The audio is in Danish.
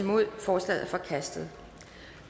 forslaget er forkastet